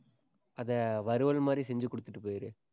அதை வறுவல் மாதிரி செஞ்சு கொடுத்துட்டு போயிரு.